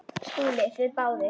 SKÚLI: Þið báðir?